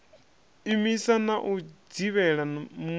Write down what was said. imisa na u dzivhela mul